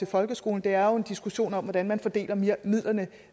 folkeskolen det er jo en diskussion om hvordan man fordeler midlerne